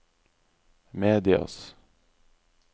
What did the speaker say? medias